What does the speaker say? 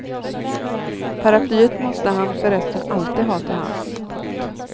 Paraplyet måste han för resten alltid ha till hands. punkt